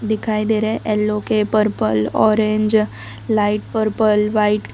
दिखाई दे रहा है एलो के purple orange light purple white --